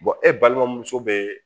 e balimamuso bɛ